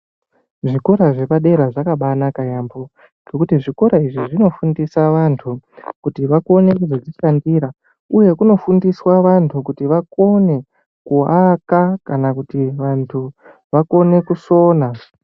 Zvikora zvepadera zvakabanaka yaambho nekuti zvikora izvi, zvinofundisa vantu kuti vakone kuzozvipandira ,uye kunofundiswa vantu vakone kuaka kana kuti vantu vakone kusona.